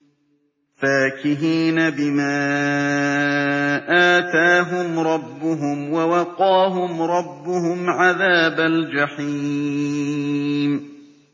فَاكِهِينَ بِمَا آتَاهُمْ رَبُّهُمْ وَوَقَاهُمْ رَبُّهُمْ عَذَابَ الْجَحِيمِ